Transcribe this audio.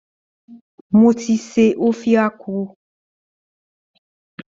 Mo ti se Ofe Akwu